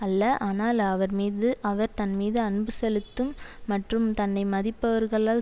அல்ல ஆனால் அவர்மீது அவர் தன்மீது அன்பு செலுத்தும் மற்றும் தன்னை மதிப்பவர்களால்